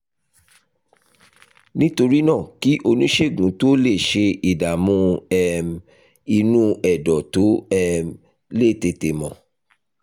nítorí náà kí oníṣègùn tó lè ṣe ìdààmú um inú ẹ̀dọ̀ tó um lè tètè mọ̀